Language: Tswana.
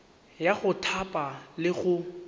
ya go thapa le go